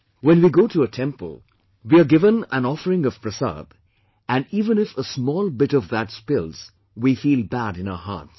When we go to a temple, we are given an offering of Prasad and even if a small bit of that spills, we feel bad in our hearts